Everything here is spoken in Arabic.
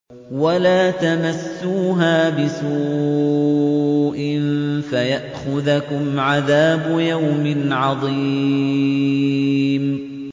وَلَا تَمَسُّوهَا بِسُوءٍ فَيَأْخُذَكُمْ عَذَابُ يَوْمٍ عَظِيمٍ